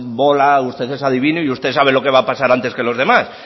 bola usted es adivino y usted sabe lo que va a pasar antes que los demás